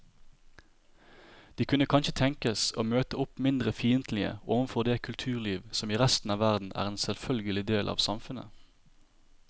De kunne kanskje tenkes å møte opp mindre fiendtlige overfor det kulturliv som i resten av verden er en selvfølgelig del av samfunnet.